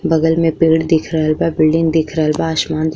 बगल में पेड़ दिख रहल बा। बिल्डिंग दिख रहल बा। आसमान दि --